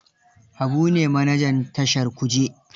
Habu ne manajan tashar Kuje.